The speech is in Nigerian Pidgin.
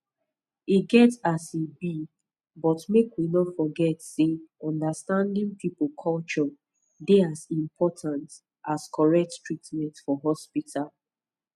e get as e be but make we no forget say understanding people culture dey as important as correct treatment for hospital